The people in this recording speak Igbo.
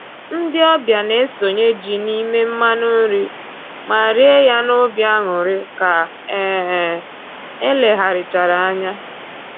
Ndị ọbịa na-esonye ji n'ime mmanụ nri ma rie ya n'obi aṅụrị ka um e legharịchara anya